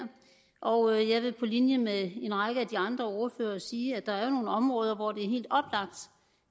og jeg vil på linje med en række af de andre ordførere sige at der jo er nogle områder hvor det